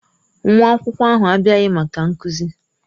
Nwa akwụkwọ ahụ abịaghị maka nkuzi.